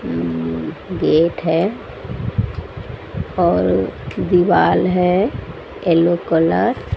gate है और दिवाल है येलो कलर --